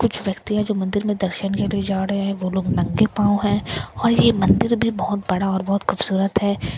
कुछ व्यक्ति है जो मंदिर में दर्शन के लिए जा रहे हैं वो लोग नंगे पाँव हैं और यह मंदिर भी बहुत बड़ा और बहुत खूबसूरत है यह --